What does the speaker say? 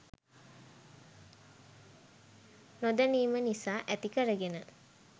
නො දැනීම නිසා ඇති කරගෙන